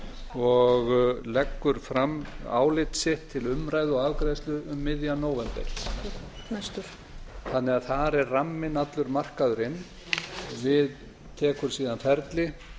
og leggur fram álit sitt til umræðu og afgreiðslu um miðjan nóvember þannig að þar er ramminn allur markaður inn við tekur síðan ferli